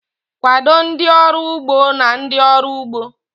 Kwado ndị ọrụ ugbo na ndị ọrụ ugbo..